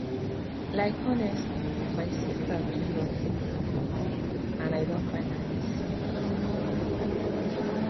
like honestly my sister too love taking breaks and i don finally see um why um